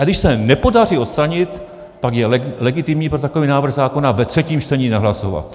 A když se nepodaří odstranit, pak je legitimní pro takový návrh zákona ve třetím čtení nehlasovat.